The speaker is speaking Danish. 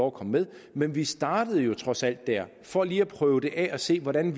at komme med men vi startede jo trods alt der for lige at prøve det af og se hvordan